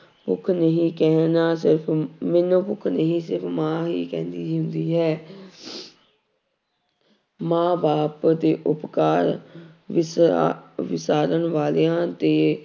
ਭੁੱਖ ਨਹੀਂ ਕਹਿਣਾ ਮੈਨੂੰ ਭੁੱਖ ਨਹੀਂ ਸਿਰਫ਼ ਮਾਂ ਹੀ ਕਹਿੰਦੀ ਹੁੰਦੀ ਹੈ ਮਾਂ ਬਾਪ ਦੇ ਉਪਕਾਰ ਵਿਸਾ ਵਿਸਾਰਨ ਵਾਲਿਆਂ ਦੇ